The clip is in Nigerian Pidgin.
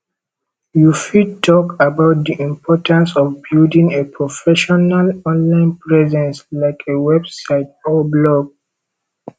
you bfit talk about di importance of building a professional online presence like a website or blog